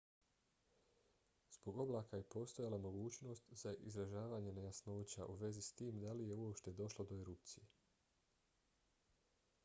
zbog oblaka je postojala mogućnost za izražavanje nejasnoća u vezi s tim da li je uopće došlo do erupcije